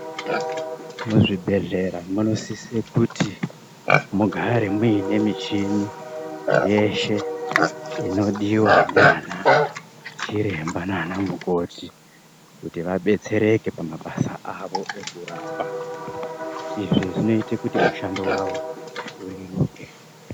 Muzvibhedhlera munosise kuti mugare muine nemichini yeshe inodiwa ndiana chiremba nanamukoti kuti vabetsereke pamabasa avo ekurapa. Izvi zvinoite kuti mushando wavo ureruke.